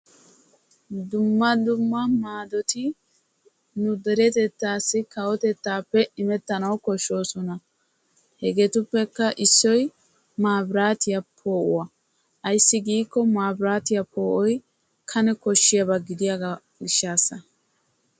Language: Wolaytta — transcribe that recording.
Dumma dumma maadoti ne derettatasi kawotettaappe imettana koshshosona. hegeetuppekka issoy maabiratiyaa poo"uwaa. ayssi giyaaba gidikko mabiraatiyaa poo'oy kane koshshiyaaba gidiyoo giishshasa.